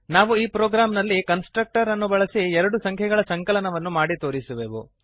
ನಾವು ಈ ಪ್ರೋಗ್ರಾಂನಲ್ಲಿ ಕನ್ಸ್ಟ್ರಕ್ಟರ್ ಅನ್ನು ಬಳಸಿ ಎರಡು ಸಂಖ್ಯೆಗಳ ಸಂಕಲನವನ್ನು ಮಾಡಿ ತೋರಿಸುವೆವು